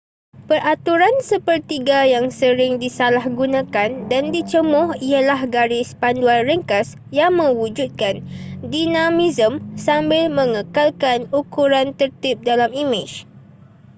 peraturan sepertiga yang sering disalahgunakan dan dicemuh ialah garis panduan ringkas yang mewujudkan dinamisme sambil mengekalkan ukuran tertib dalam imej